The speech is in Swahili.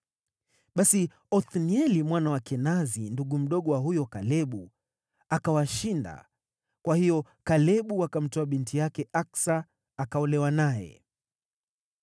Basi Othnieli mwana wa Kenazi, ndugu mdogo wa huyo Kalebu, akawashinda, kwa hiyo Kalebu akamtoa binti yake Aksa akaolewa naye.